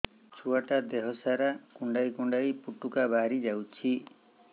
ଛୁଆ ଟା ଦେହ ସାରା କୁଣ୍ଡାଇ କୁଣ୍ଡାଇ ପୁଟୁକା ବାହାରି ଯାଉଛି